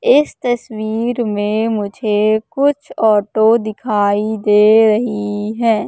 इस तस्वीर में मुझे कुछ ऑटो दिखाई दे रही हैं।